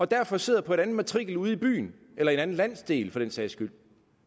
derfor sidder på en anden matrikel ude i byen eller en anden landsdel for den sags skyld